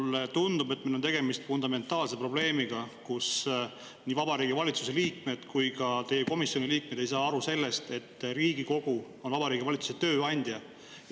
Mulle tundub, et meil on tegemist fundamentaalse probleemiga: ei Vabariigi Valitsuse liikmed ega ka teie komisjoni liikmed ei saa aru sellest, et Riigikogu on Vabariigi Valitsuse tööandja.